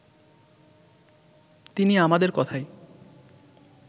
তিনি আমাদের কথায়